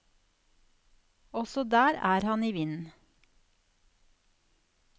Også der er han i vinden.